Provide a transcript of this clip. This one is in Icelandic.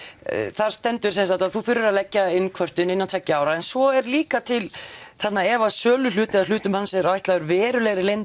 þar stendur sem sagt að þú þurfir að leggja inn kvörtun innan tveggja ára en svo er líka til þarna ef söluhlut eða hlutum hans er ætlaður verulega